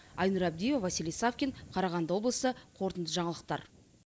айнұр абдиева василий савкин қарағанды облысы қорытынды жаңалықтар